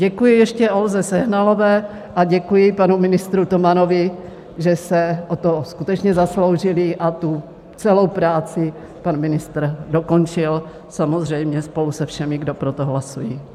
Děkuji ještě Olze Sehnalové a děkuji panu ministru Tomanovi, že se o to skutečně zasloužili, a tu celou práci pan ministr dokončil, samozřejmě spolu se všemi, kdo pro to hlasují.